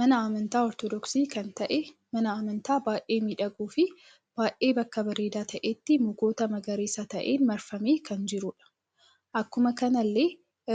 Mana amantaa ortodooksi kan ta'ee Mana amataa baay'ee miidhaguu fi baay'ee bakka bareeda ta'etti mukoota magariisa ta'een marfamee kan jirudha. Akkuma kanallee